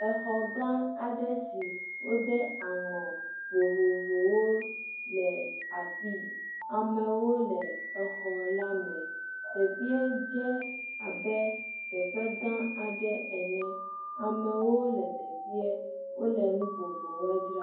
Exɔ gã aɖe si wode aŋɔ vovovowo le afi yi amewo le exɔ la me teƒee dze abe teƒe gã aɖe ene amewo le teƒe wole nu vovovowe dzram.